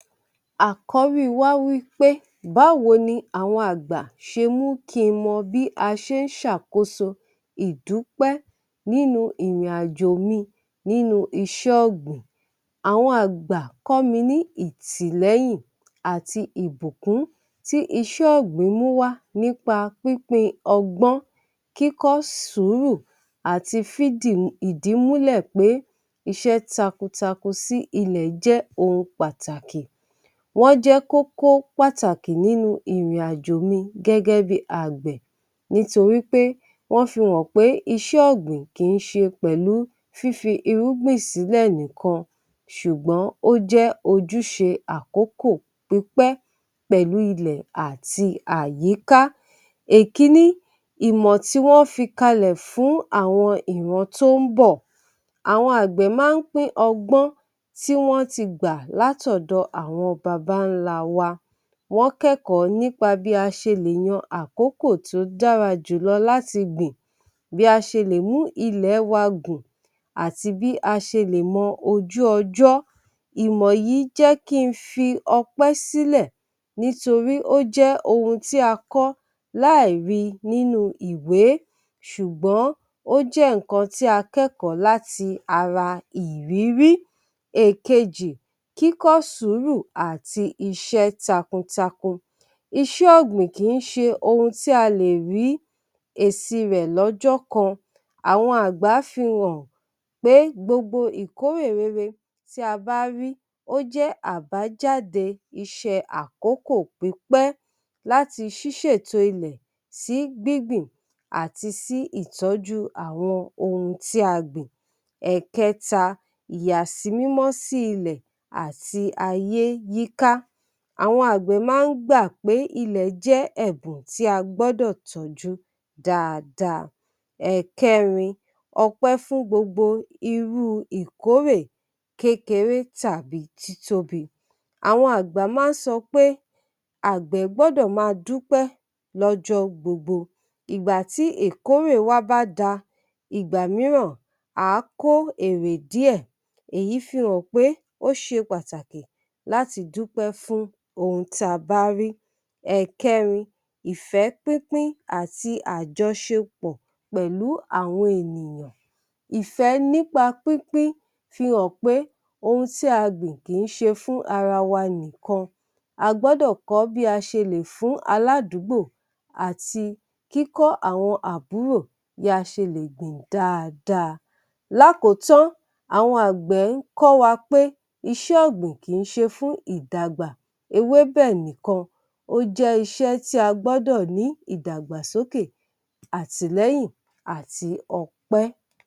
Àkọ́rìí wá wí pé báwo ni àwọn àgbà ṣe mú kí n mọ bí a ṣe ń sàkóso ìdúpẹ́ nínú ìrìnàjò mi nínú iṣẹ́ ọgbìn? Àwọn àgbà kọ́mi ní ìtìlẹ̀yìn àti ìbùkún tí iṣẹ́ ọgbìn mú wá nípa pínpín ọgbọ́n, kíkọ́ sùúrù àti fídì ìdímúlẹ̀ pé iṣẹ́ takuntakun sí ilẹ̀ jẹ́ ohun pàtàkì. Wọ́n jẹ́ kókó pàtàkì nínú ìrìnàjò mi gẹ́gẹ́ bí àgbẹ̀ nítorí pé wọ́n fi hàn pé iṣẹ́ ọgbìn kì í ṣe pẹ̀lú fífi irúgbìn sílẹ̀ nìkan ṣùgbọ́n ó jẹ́ ojúṣe àkókò pípẹ́ pẹ̀lú ilẹ̀ àti ayíká. Ẹ̀kíní ìmọ̀ tí wọ́n fi kalẹ̀ fún àwọn ìrán tó ń bọ̀. Àwọn àgbẹ̀ máa ń pín ọgbọ́n tí wọ́n ti gbà látọ̀dọ̀ àwọn bàbá ńlá wa. Wọ́n kẹ́kọ̀ọ́ nípa bí a ṣe lè yàn àkókò tí ó dára jùlọ láti gbìn, bí a ṣe lè mú ilẹ̀ wa gùn, àti bí a ṣe lè mọ ojú ọjọ́. Ìmọ̀ yìí jẹ́ kí n fi ọpẹ́ sílẹ̀ nítorí ó jẹ́ ohun tí a kọ́ láìrí nínú ìwé ṣùgbọ́n ó jẹ́ nkan tí a kẹ́kọ̀ọ́ láti ara ìrírí. Ẹ̀kejì, kíkọ́ sùúrù àti iṣẹ́ takuntakun. Iṣẹ́ ọgbìn kì í ṣe ohun tí a lè rí èsì rẹ̀ lọ́jọ́ kan. Àwọn àgbà fi hàn pé gbogbo ìkórè rere tí a bá rí ó jẹ́ àbájáde iṣẹ́ àkókò pípẹ́ láti ṣísẹ̀ tó ilẹ̀ sí gbígbìn àti sí ìtọ́jú àwọn ohun tí a gbìn. Ẹ̀kẹta ìyàsímímọ̀ sí ilẹ̀ àti ayé yí ká. Àwọn àgbẹ̀ máa ń gba pé ilẹ̀ jẹ́ ẹ̀bùn tí a gbọ́dọ̀ tọ́jú dáadáa. Ẹ̀kẹrin ọpẹ́ fún gbogbo irú ìkórè kékeré tàbí títóbi. Àwọn àgbà máa ń sọ pé àgbẹ̀ gbọ́dọ̀ máa dúpẹ́ ló̩jọ́ gbogbo ìgbà tí ìkórè bá wá. Bákan náà, nígbà míràn a kó èrè díẹ̀, èyí fìhàn pé ó ṣe pàtàkì láti dúpẹ́ fún ohun tí a bá rí. Ẹ̀kẹrin ìfẹ́ pínpín àti àjọṣepọ̀ pẹ̀lú àwọn ènìyàn. Ìfẹ́ nípa pínpín fìhàn pé oún tí àgbẹ̀ ń ṣe kì í ṣe fún ará wa nìkan. A gbọ́dọ̀ kọ́ bí a ṣe lè fún ará adúgbò àti kó àwọn àbúrò, bí a ṣe lè gbìn dáadáa. Lákọ̀tán, àwọn àgbẹ̀ ń kọ́ wá pé iṣẹ́ ọgbìn kì í ṣe fún ìdàgbàsókè ewébé nìkan, ó jẹ́ iṣẹ́ tí a gbọ́dọ̀ ní ìdàgbàsókè, àtìlẹ́yìn àti ọpẹ́.